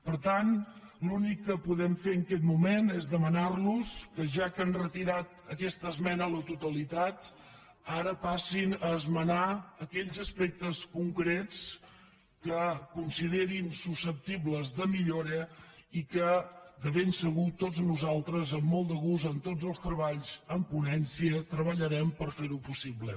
per tant l’únic que podem fer en aquest moment és demanar los que ja que han retirat aquesta esmena a la totalitat ara passin a esmenar aquells aspectes concrets que considerin susceptibles de millora i que de ben segur tots nosaltres amb molt de gust en tots els treballs en ponència treballarem per fer ho possible